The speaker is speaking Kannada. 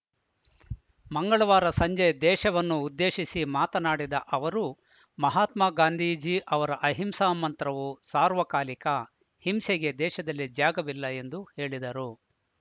ಮಂಗಳವಾರ ಸಂಜೆ ದೇಶವನ್ನು ಉದ್ದೇಶಿಸಿ ಮಾತನಾಡಿದ ಅವರು ಮಹಾತ್ಮಾ ಗಾಂಧೀಜಿ ಅವರ ಅಹಿಂಸಾ ಮಂತ್ರವು ಸಾರ್ವಕಾಲಿಕ ಹಿಂಸೆಗೆ ದೇಶದಲ್ಲಿ ಜಾಗವಿಲ್ಲ ಎಂದು ಹೇಳಿದರು